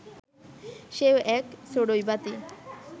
সেও এক চড়ুইভাতি